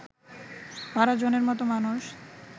১২ জনের মত মানুষ